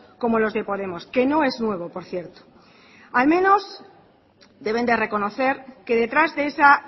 como los de podemos que no es nuevo por cierto al menos deben de reconocer que detrás de esa